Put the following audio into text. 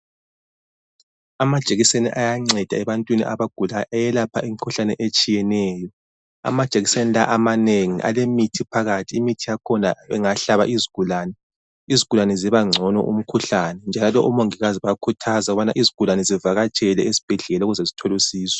Amajekiseni ayanceda ebantwini abagulayo ayelapha imkhuhlane etshiyeneyo. Amajekiseni la amanengi alemithi phakathi imithi yakhona bengahlaba izigulane, izigulane zibangcono umkhuhlane njalo omongokazi bayakhuthaza ukubana izigulane zivakatshele ezibhedlela ukuze zithole usizo.